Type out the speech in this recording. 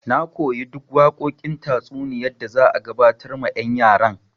Na koyi duk waƙoƙin tatsuniya da za a gabatar ma yan' yaran.